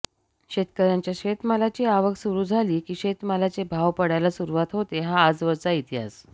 शेतकऱ्यांच्या शेतमालाची आवक सुरु झाली की शेतमालाचे भाव पडायला सुरुवात होते हा आजवरचा इतिहास